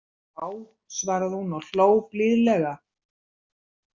Já, svaraði hún og hló blíðlega.